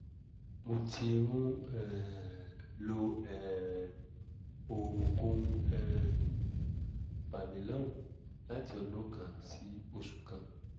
mo ti ń um lo um oògùn um familon láti ọdún kan sí oṣù kan